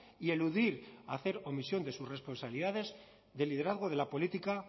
y eludir hacer omisión de sus responsabilidades de liderazgo de la política